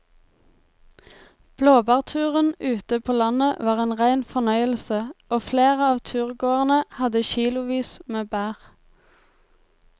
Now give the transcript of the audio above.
Blåbærturen ute på landet var en rein fornøyelse og flere av turgåerene hadde kilosvis med bær.